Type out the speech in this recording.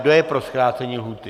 Kdo je pro zkrácení lhůty?